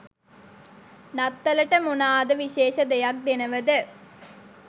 නත්තලට මොනාද විශේෂ දෙයක් දෙනවද